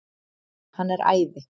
Hann er æði!